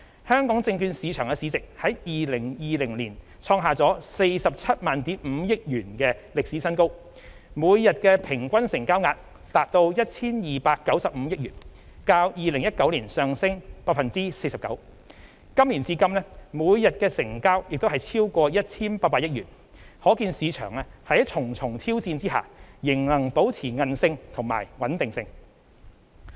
香港證券市場市值在2020年創下 475,000 億元的歷史新高；每日平均成交額達 1,295 億元，較2019年上升 49%； 今年至今每日的成交亦超過 1,800 億元，可見市場在重重挑戰下仍能保持韌力和穩定性。